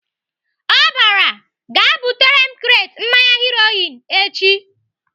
Ọ bara "Gaa butere m kret mmanya Heroin echi!"